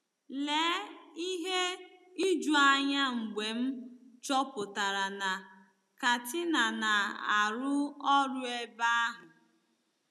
Lee ihe ijuanya mgbe m chọpụtara na Katina na-arụ ọrụ ebe ahụ!